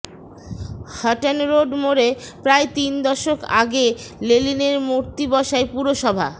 হাটনরোড মোড়ে প্রায় তিন দশক আগে লেনিনের মূর্তি বসায় পুরসভা